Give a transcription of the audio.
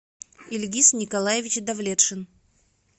ильгиз николаевич давлетшин